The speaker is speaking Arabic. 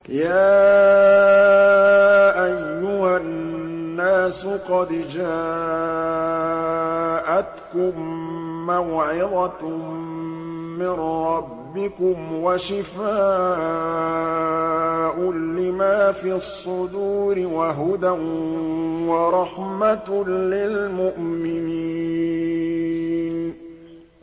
يَا أَيُّهَا النَّاسُ قَدْ جَاءَتْكُم مَّوْعِظَةٌ مِّن رَّبِّكُمْ وَشِفَاءٌ لِّمَا فِي الصُّدُورِ وَهُدًى وَرَحْمَةٌ لِّلْمُؤْمِنِينَ